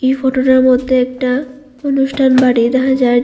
photo -টার মধ্যে একটা অনুষ্ঠান বাড়ি দেখা যায় যে--